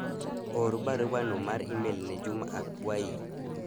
or baruano mar email ne Juma akwayi